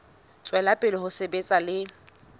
tswela pele ho sebetsa le